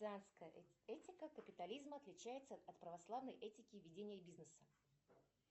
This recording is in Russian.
этика капитализма отличается от православной этики ведения бизнеса